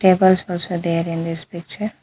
Tables also there in this picture.